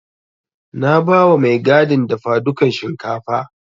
Na bawa mai gadin dafadukan shinkafa.